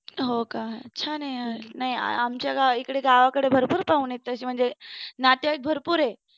हो का. छान आहे यार. नाही आमच्या इकडे गावाकडे म्हणजे भरपूर पाहुनी आहेत. तशी म्हणजे नातेवाईक भरपूर आहेत.